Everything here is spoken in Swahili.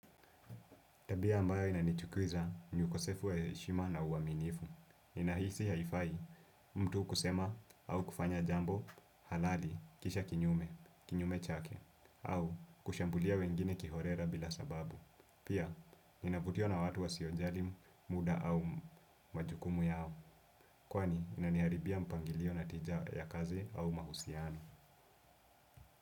Tabia ambayo inanichukiza ni ukosefu wa heshima na uaminifu. Ninahisi haifai mtu kusema au kufanya jambo halali kisha kinyume, kinyume chake, au kushambulia wengine kiholela bila sababu. Pia, ninavutiwa na watu wasiojali muda au majukumu yao. Kwani, inaniharibia mpangilio na tija ya kazi au mahusiano.